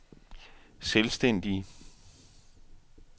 selvstændige